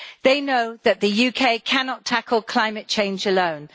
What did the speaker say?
They know that the UK cannot tackle climate change alone.